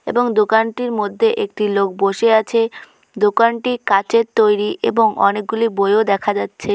এবং দোকানটির মধ্যে একটি লোক বসে আছে। দোকানটি কাঁচের তৈরি এবং অনেকগুলি বইও দেখা যাচ্ছে।